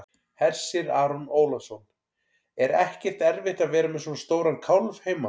Hersir Aron Ólafsson: Er ekkert erfitt að vera með svona stóran kálf heima?